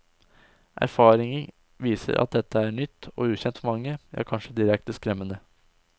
Erfaring viser at dette er nytt og ukjent for mange, ja kanskje direkte skremmende.